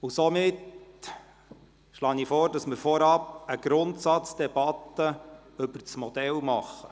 Deshalb schlage ich vor, vorab eine Grundsatzdebatte über das Modell zu führen.